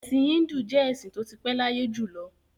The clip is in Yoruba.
Ẹ̀sìn Híńdù jẹ́ ẹ̀sìn tó ti pé láyé jù lọ.